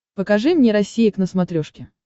покажи мне россия к на смотрешке